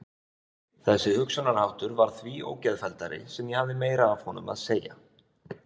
Þessi hugsunarháttur varð því ógeðfelldari sem ég hafði meira af honum að segja.